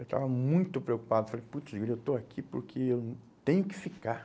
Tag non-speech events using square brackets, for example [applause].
Eu estava muito preocupado, falei, [unintelligible] eu estou aqui porque eu tenho que ficar.